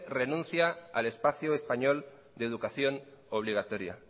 renuncia al espacio español de educación obligatoria